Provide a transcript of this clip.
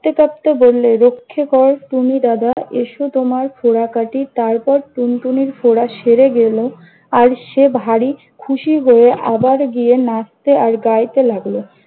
কাঁদতে কাঁদতে বললে- রক্ষে কর টুনি দাদা, এসো তোমার ফোঁড়া কাঁটি। তারপর, টুনটুনির ফোঁড়া সেরে গেল। আর সে ভারি খুশি হয়ে আবার গিয়ে নাচতে আর গাইতে লাগলো।